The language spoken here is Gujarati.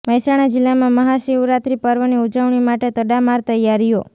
મહેસાણા જિલ્લામાં મહાશિવરાત્રિ પર્વની ઉજવણી માટે તડામાર તૈયારીઓ